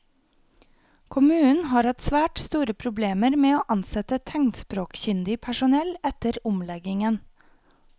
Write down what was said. Kommunen har hatt svært store problemer med å ansette tegnspråkkyndig personell etter omleggingen.